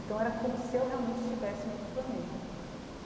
Então, era como se eu realmente estivesse em outro planeta.